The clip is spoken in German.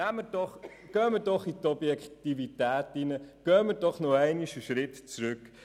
Gehen wir doch in die Objektivität, treten wir einen Schritt zurück.